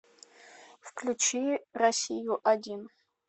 включи россию один